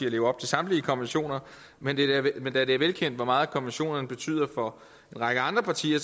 at leve op til samtlige konventioner men men da det er velkendt hvor meget konventionerne betyder for en række andre partier